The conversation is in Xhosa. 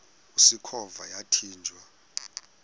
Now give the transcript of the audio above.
usikhova yathinjw a